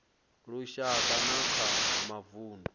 ya lushaka na kha mavundu